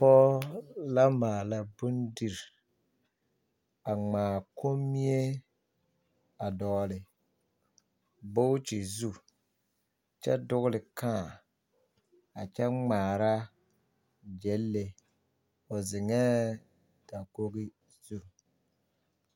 Dͻͻ la maala bondiri, a ŋmaa kommie a dͻgele booti zu kyԑ dogele kãã a kyԑ ŋmaara gyԑnle. O zeŋԑԑ dakogi zu.